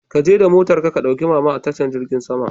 Ka je da motar ka, ka ɗauki mama a tashar jirgin sama.